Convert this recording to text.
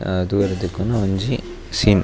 ಅಹ್ ತೂವರೆ ತಿಕ್ಕುನ ಒಂಜಿ ಸೀನ್ .